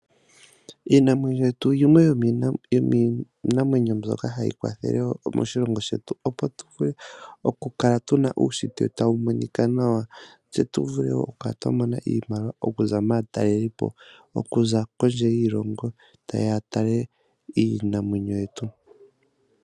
Iinamwenyo yetu yimwe yomiinamwenyo mbyoka hayi kwathele moshilongo shetu opo tuvule okukala tuna uushitwe tawu monikwa nawa, tse tuvule wo okukala twamona iimaliwa okuza maatalelipo okuza kondje yiilongo taye ya yatale iinamwenyo yetu